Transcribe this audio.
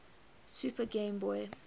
super game boy